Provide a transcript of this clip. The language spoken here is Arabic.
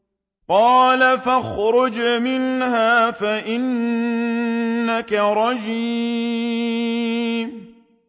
قَالَ فَاخْرُجْ مِنْهَا فَإِنَّكَ رَجِيمٌ